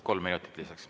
Kolm minutit lisaks.